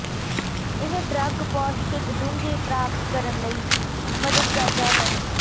ਇਹ ਡਰੱਗ ਪੌਸ਼ਟਿਕ ਡੂੰਘੇ ਪ੍ਰਾਪਤ ਕਰਨ ਲਈ ਮਦਦ ਕਰਦਾ ਹੈ